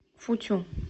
футю